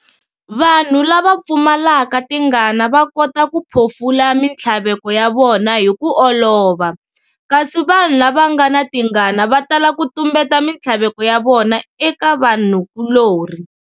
Vanhu lava pfumalaka tingana vakota ku phofula minthlaveko ya vona hi ku olova, kasi vanhu lavangana tingana va tala ku tumbeta minthlaveko ya vona eka vanhu kulori.